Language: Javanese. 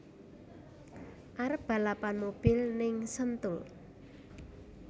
Arep balapan mobil ning Sentul